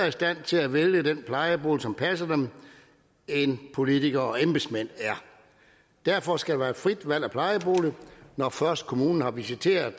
i stand til at vælge den plejebolig som passer dem end politikere og embedsmænd er derfor skal der være frit valg af plejebolig når først kommunen har visiteret